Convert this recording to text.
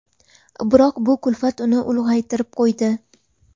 Biroq bu kulfat uni ulg‘aytirib qo‘ydi.